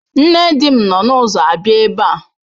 Nne di m nọ n'ụzọ abịa ebe a.